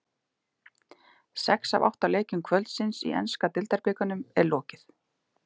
Sex af átta leikjum kvöldsins í enska deildabikarnum er lokið.